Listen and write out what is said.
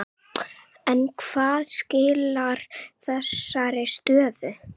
En hvað skilar þessari stöðu?